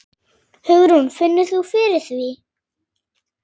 Hugrún: Finnur þú fyrir því?